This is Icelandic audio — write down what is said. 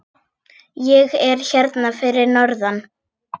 Ég er hérna fyrir norðan.